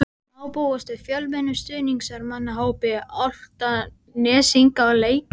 Má búast við fjölmennum stuðningsmannahópi Álftnesinga á leiknum?